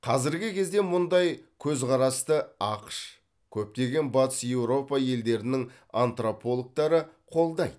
қазіргі кезде мұндай көзқарасты ақш көптеген батыс еуропа елдерінің антропологтары қолдайды